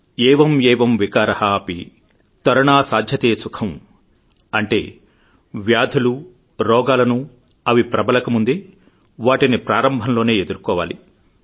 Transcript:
ఏవం ఏవం వికార అపి తరుణా సాధ్యతే సుఖం అంటే వ్యాధులు రోగాలను అవి ప్రబలకముందే వాటిని ప్రారంభంలోనే ఎదుర్కొవాలి